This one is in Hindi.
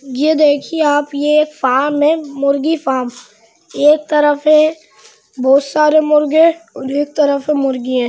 ये देखिए आप ये एक फार्म है मुर्गी फार्म एक तरफ है बहोत सारे मुर्गे और एक तरफ है मुर्गिए ।